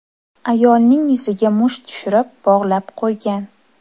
Ayolning yuziga musht tushirib, bog‘lab qo‘ygan.